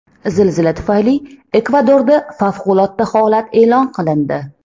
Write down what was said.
Zilzila tufayli Ekvadorda favqulodda holat e’lon qilindi.